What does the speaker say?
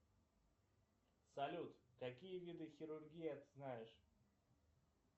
салют какие виды хирургии ты знаешь